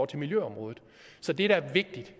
til miljøområdet så det der er vigtigt